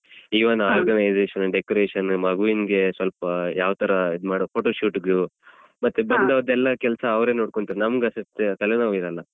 Even organization decoration ಮಗುವಿಗೆ ಸ್ವಲ್ಪ ಯಾವ ತರ ಇದ್ ಮಾಡೋದು photoshoot ಗು ಮತ್ತೆ ಬಂದವರದೆಲ್ಲ ಕೆಲ್ಸ ಅವ್ರೆ ನೋಡ್ಕೊಳ್ತಾರೆ ನಮ್ಗೆ ತಲೆನೋವಿರಲ್ಲ.